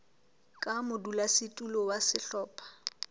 ka modulasetulo wa sehlopha sa